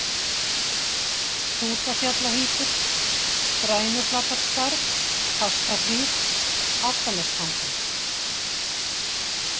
Hrútafjallahitur, Grænuflatarskarð, Fastahlíð, Álftanestangi